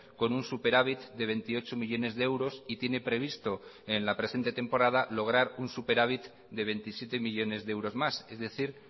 con un superávit de veintiocho millónes de euros y tiene previsto en la presente temporada lograr un superávit de veintisiete millónes de euros más es decir